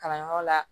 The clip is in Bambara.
Kalanyɔrɔ la